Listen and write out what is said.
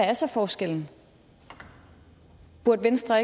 er så forskellen burde venstre